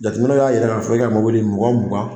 Jateminɛw y'a jira ka fɔ e ka mɔbili ɲɔgɔn mugan.